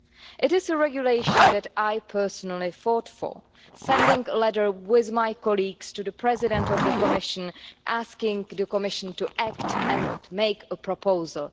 It is a regulation that I personally fought for, sending a letter with my colleagues to the President of the Commission asking the Commission to act and make a proposal.